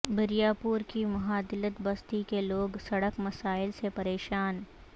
بریارپور کے مہادلت بستی کے لوگ سڑک مسائل سے پریشان